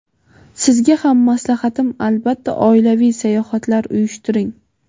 Sizga ham maslahatim: albatta oilaviy sayohatlar uyushtiring.